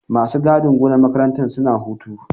Masu gadin gonar makarantar suna hutu.